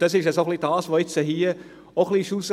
Dies war hier auch herauszuhören.